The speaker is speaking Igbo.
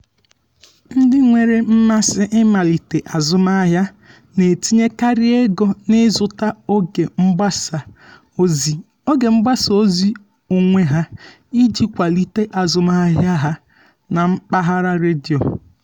ndị nwere mmasị ịmalite azụmahịa na-etinyekarị ego n’ịzụta oge mgbasa ozi oge mgbasa ozi onwe ha iji kwalite azụmahịa ha na mpaghara redio.